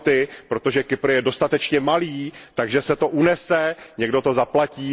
bailout, protože Kypr je dostatečně malý, takže se to unese, někdo to zaplatí.